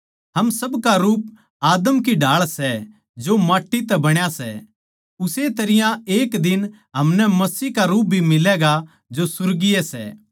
हम सबका रूप आदम की ढाळ सै जो माट्टी तै बण्या सै उस्से तरियां एक दिन हमनै मसीह का रूप भी मिलैगा जो सुर्गीय सै